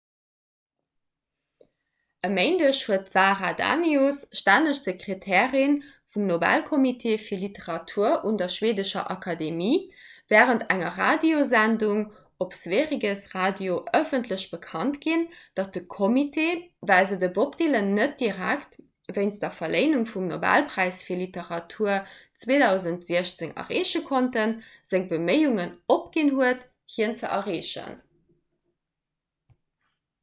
e méindeg huet d'sara danius stänneg sekretärin vum nobelkommitee fir literatur un der schweedescher akademie wärend enger radiosendung op sveriges radio ëffentlech bekannt ginn datt de kommitee well se den bob dylan net direkt wéinst der verléinung vum nobelpräis fir literatur 2016 erreeche konnten seng beméiungen opginn huet hien ze erreechen